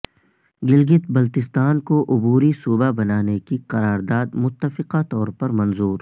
گلگت بلتستان کو عبوری صوبہ بنانے کی قرارداد متفقہ طور پر منظور